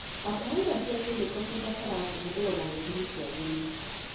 Bataraitha cina kĩmĩko cibataraga kũhũthĩrwo na gĩthimi kĩagĩrĩru.